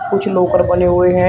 कुछ लाकर बने हुए हैं।